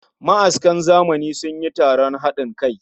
Ma'askan zamani sun yi taron hadin kai